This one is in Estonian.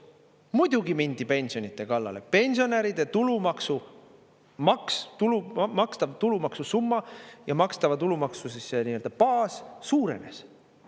Muidugi mindi pensionide kallale, pensionäride tulumaksu maks, tulult makstav tulumaksu summa ja makstava tulumaksu baas suurenes.